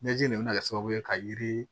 Ɲɛji in de bɛ kɛ sababu ye ka yiri